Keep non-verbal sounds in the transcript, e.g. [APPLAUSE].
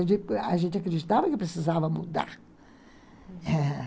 A [UNINTELLIGIBLE] a gente acreditava que precisava mudar, ãh